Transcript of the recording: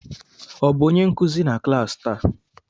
Ọ bụ onye nkuzi na klas taa?